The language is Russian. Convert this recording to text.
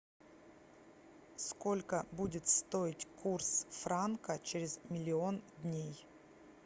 сколько будет стоить курс франка через миллион дней